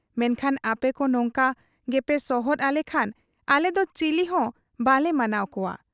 ᱢᱮᱱᱠᱷᱟᱱ ᱟᱯᱮᱠᱚ ᱱᱚᱝᱠᱟ ᱜᱮᱯᱮ ᱥᱚᱦᱚᱫ ᱟᱞᱮᱠᱷᱟᱱ ᱟᱞᱮᱫᱚ ᱪᱤᱞᱤᱦᱚᱸ ᱵᱟᱞᱮ ᱢᱟᱱᱟᱣ ᱠᱚᱣᱟ ᱾